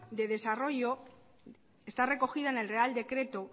de desarrollo está recogida en el real decreto